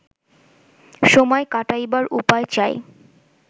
সময় কাটাইবার উপায় চাই